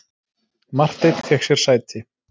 Marteinn fékk sér sæti.